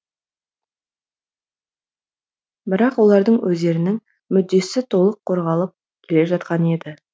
бірақ олардың өздерінің мүддесі толық қорғалып келе жатқан еді